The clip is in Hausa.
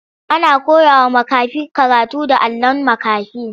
Ana koyawa makafi karatu da allon makafi.